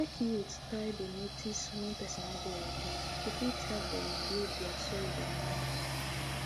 make youth try dey notice wen person no dey happy to fit help dem heal dia sould and mind